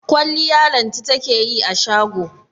Kwalliya Lanti take yi a shago.